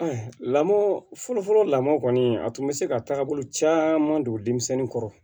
lamɔ fɔlɔfɔlɔ lamɔ kɔni a tun bɛ se ka taabolo caman don denmisɛnnin kɔrɔ